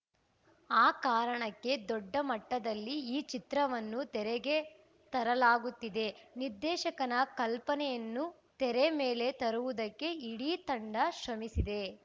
ಆ ಕಾರಣಕ್ಕೆ ದೊಡ್ಡ ಮಟ್ಟದಲ್ಲಿ ಈ ಚಿತ್ರವನ್ನು ತೆರೆಗೆ ತರಲಾಗುತ್ತಿದೆ ನಿರ್ದೇಶಕನ ಕಲ್ಪನೆಯನ್ನು ತೆರೆ ಮೇಲೆ ತರುವುದಕ್ಕೆ ಇಡೀ ತಂಡ ಶ್ರಮಿಸಿದೆ